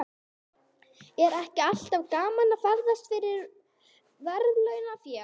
Er ekki alltaf gaman að ferðast fyrir verðlaunafé?